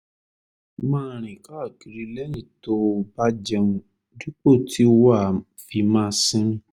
máa rìn káàkiri lẹ́yìn tó o bá jẹun dípò tí wàá fi máa sinmi